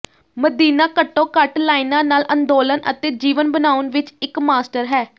ਮਦੀਨਾ ਘੱਟੋ ਘੱਟ ਲਾਈਨਾਂ ਨਾਲ ਅੰਦੋਲਨ ਅਤੇ ਜੀਵਨ ਬਣਾਉਣ ਵਿੱਚ ਇੱਕ ਮਾਸਟਰ ਹੈ